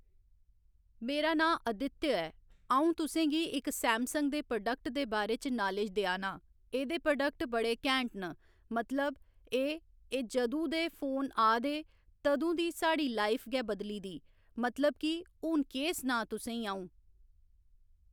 मेरा नांऽ आदित्य ऐ अं'ऊ तुसेंगी इक्क सैमसंग दे प्रोडेक्ट दे बारै च नालेज देआं ना एह्दे प्रोडेक्ट बड़े कैंट न मतलब एह् एह् जदूं दे फोन आ दे तदूं दी साढ़ी लाईफ गै बदली दी मतलब की हू'न केह् सनांऽ तुसें ई अं'ऊ